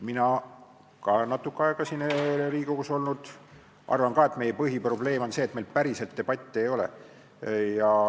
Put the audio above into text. Mina, olles ka natuke aega siin Riigikogus olnud, arvan, et meie põhiprobleem on see, et meil päriselt debatti ei ole.